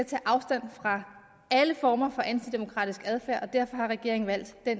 tage afstand fra alle former for antidemokratisk adfærd og derfor har regeringen valgt at